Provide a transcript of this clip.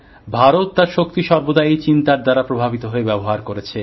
ভারত তার শক্তি সর্বদা এই চিন্তার দ্বারা প্রভাবিত হয়ে ব্যবহার করেছে